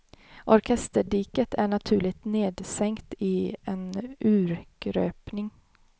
Orkesterdiket är naturligt nedsänkt i en urgröpning.